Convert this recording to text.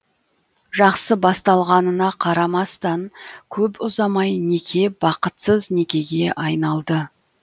жақсы басталғанына қарамастан көп ұзамай неке бақытсыз некеге айналды